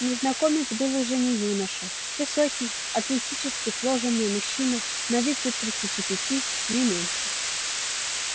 незнакомец был уже не юноша высокий атлетически сложенный мужчина на вид лет тридцати пяти не меньше